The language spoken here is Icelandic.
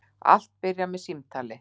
Allt byrjar með símtali.